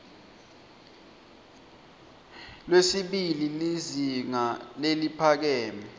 lwesibili lizinga leliphakeme